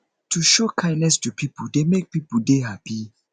to show kindness to pipo dey make pipo de happy